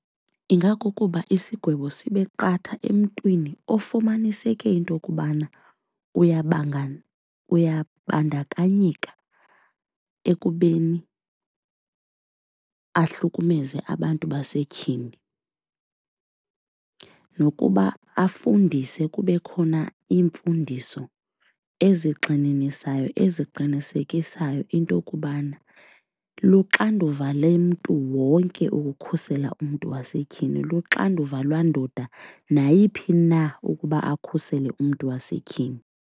Ingakukuba isigwebo sibe qatha emntwini ofumaniseke into kubana uyabanga uyabandakanyeka ekubeni ahlukumeze abantu basetyhini. Nokuba afundise kube khona iimfundiso ezigxininisayo eziqinisekisayo into kubana luxanduva lomntu wonke ukukhusela umntu wasetyhini luxanduva landoda nayiphi na ukuba akhusele umntu wasetyhini.